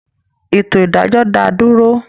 Ètò ìdájọ́ dá dúró